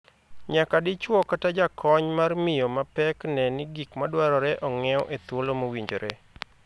Nyaka dichwo kata jakony mar miyo ma pek nee ni gik madwarore ong'iew e thuolo mowinjore